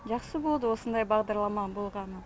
жақсы болды осындай бағдарлама болғаны